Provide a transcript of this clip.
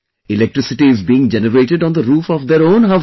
Electricity is being generated on the roof of their own houses